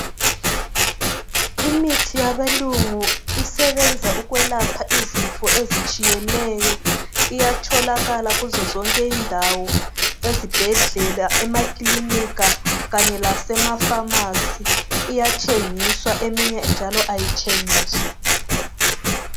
Imithi yabelungu isebenza ukwelapha izifo ezitshiyeneyo. Iyatholakala kuzo zonke izindawo ezibhedlela emakilinika kanye lasemafamasi. Iyathengiswa eminye njalo ayithengiswa.